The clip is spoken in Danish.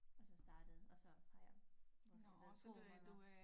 Og så startede og så har jeg måske været 2 måneder